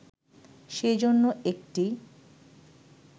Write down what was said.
সেজন্য একটি